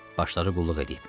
Başları qulluq eləyib.